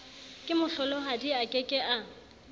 kemohlolohadi a ke ke a